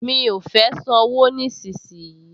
Mi ò fẹ́ sanwó nísinsìnyí